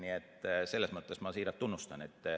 Nii et selles mõttes ma siiralt neid tunnustan.